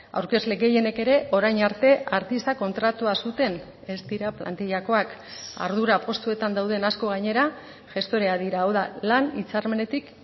aurkezle gehienek ere orain arte artista kontratua zuten ez dira plantillakoak ardura postuetan dauden asko gainera gestoreak dira hau da lan hitzarmenetik